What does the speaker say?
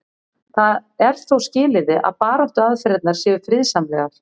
það er þó skilyrði að baráttuaðferðirnar séu friðsamlegar